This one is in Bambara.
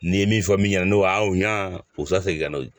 N'i ye min fɔ min ɲɛna n'o a ɲa u bɛ se ka segin ka n'o ye